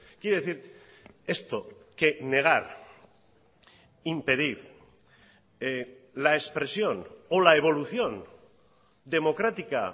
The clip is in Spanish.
quiere decir esto que negar impedir la expresión o la evolución democrática